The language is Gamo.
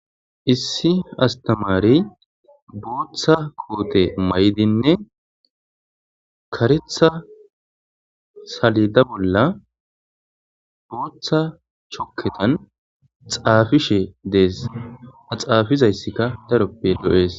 Issi astamari booththa koote may7dinne karetha salida bolla booththa chokketan xaafishe dees xaafizayssika daroppe lo7ees